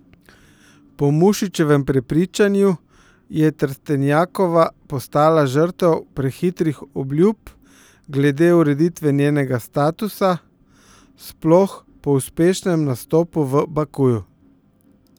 Po Mušičevem prepričanju je Trstenjakova postala žrtev prehitrih obljub glede ureditve njenega statusa, sploh po uspešnem nastopu v Bakuju.